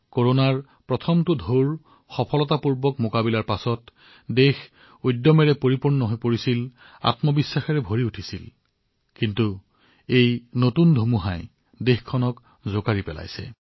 কৰোনাৰ প্ৰথমটো ঢৌক সফলতাৰে প্ৰতিহত কৰাৰ পিছত দেশখনত সাহসেৰে ভৰি পৰিছিল আত্মবিশ্বাসেৰে ভৰি পৰিছিল কিন্তু এই ধুমুহাই দেশখনক হতবাক কৰি তুলিছে